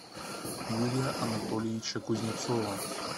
юрия анатольевича кузнецова